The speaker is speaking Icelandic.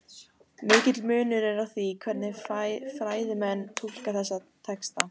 Mikill munur er á því hvernig fræðimenn túlka þessa texta.